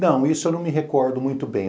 Não, isso eu não me recordo muito bem.